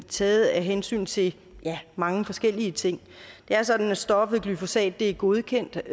taget af hensyn til mange forskellige ting det er sådan at stoffet glyphosat er godkendt